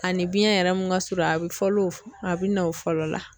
Ani biɲɛn yɛrɛ mun ka surun a bɛ fɔlɔ a bɛ na o fɔlɔ la.